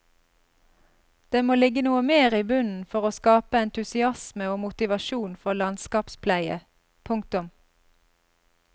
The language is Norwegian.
Det må ligge noe mer i bunnen for å skape entusiasme og motivasjon for landskapspleie. punktum